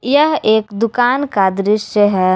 यह एक दुकान का दृश्य है।